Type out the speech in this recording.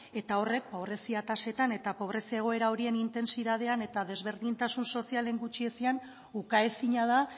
eta horrek pobrezia tasetan eta pobrezia egoera horien intentsitatean eta desberdintasun sozialen gutxiezian ukaezina da